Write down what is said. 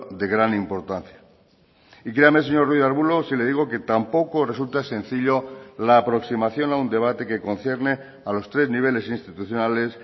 de gran importancia y créame señor ruiz de arbulo si le digo que tampoco resulta sencillo la aproximación a un debate que concierne a los tres niveles institucionales